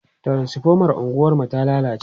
transifomar unguwar mu ta lallace